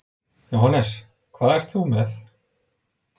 Jóhannes: Hvað ert þú með?